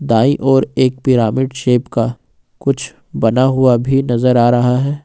दाई ओर एक pyramid shape का कुछ बना हुआ नजर आ रहा है।